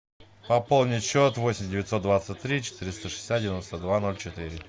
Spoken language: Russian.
пополнить счет восемь девятьсот двадцать три четыреста шестьдесят девяносто два ноль четыре